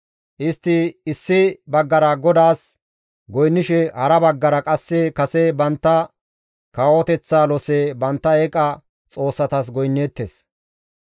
Istti issi baggara GODAAS goynnishe hara baggara qasse kase bantta kawoteththa lose mala bantta eeqa xoossatas goynneettes.